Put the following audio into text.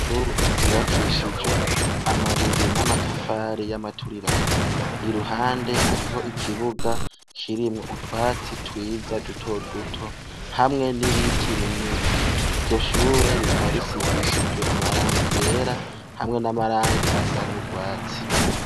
Ishure ryubakishije amabuye n’amatafari y’amaturirano, iruhande hariho ikibuga kirimwo utwatsi twiza duto duto, hamwe n’ibiti binini. Iryo shure rikaba risigishijwe amarangi yera hamwe n’amarangi asa n’urwatsi.